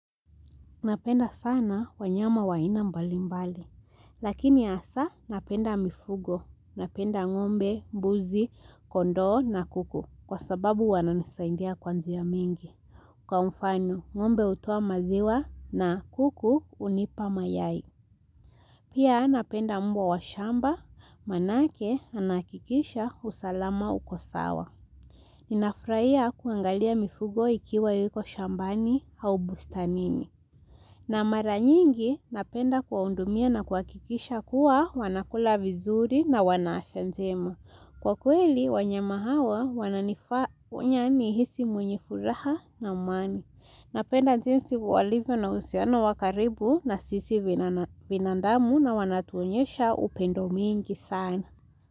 Napenda sana wanyama wa aina mbali mbali. Lakini hasa napenda mifugo. Napenda ng'ombe, mbuzi, kondo na kuku. Kwa sababu wananisaindia kwa njia mingi. Kwa mfano, ng'ombe utoa maziwa na kuku unipa mayai. Pia napenda mbwa wa shamba. Manake anahakikisha usalama uko sawa. Ninafurahia kuangalia mifugo ikiwa yuko shambani au bustanini. Na mara nyingi napenda kuwaundumia na kuwakikisha kuwa wanakula vizuri na wanahenzema. Kwa kweli, wanyama hawa wananifanya nihisi mwenye furaha na amani. Napenda jinsi walivyo na uhusiano wa karibu na sisi binandamu na wanatuonyesha upendo mwingi sana.